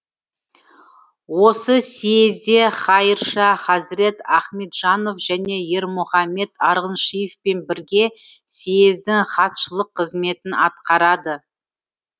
осы сиезде хайырша хазірет ахметжанов және ермұхамет арғыншиевпен бірге сиездің хатшылық қызметін атқарады